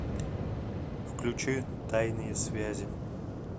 включи тайные связи